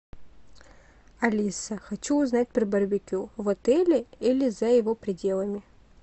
алиса хочу узнать про барбекю в отеле или за его пределами